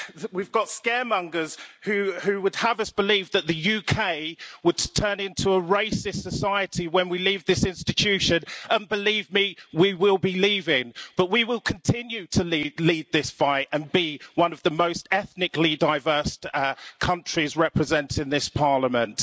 We've got scaremongers who would have us believe that the UK would turn into a racist society when we leave this institution and believe me, we will be leaving, but we will continue to lead this fight and be one of the most ethnically diverse countries represented in this Parliament.